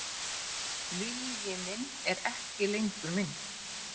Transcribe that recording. Vilji minn er ekki lengur minn.